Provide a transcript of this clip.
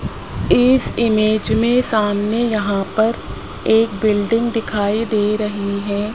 इस इमेज में सामने यहां पर एक बिल्डिंग दिखाई दे रही है।